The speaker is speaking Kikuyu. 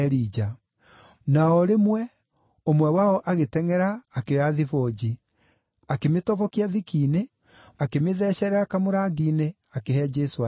Na o rĩmwe, ũmwe wao agĩtengʼera akĩoya thibũnji. Akĩmĩtobokia thiki-inĩ, akĩmĩthecerera kamũrangi-inĩ, akĩhe Jesũ anyue.